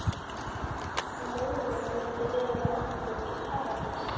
Á morgun muntu vera með okkur í Paradís.